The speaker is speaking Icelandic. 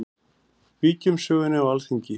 Víkjum sögunni á Alþingi.